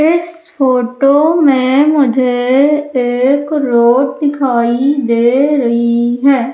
इस फोटो में मुझे एक रोड दिखाई दे रही है।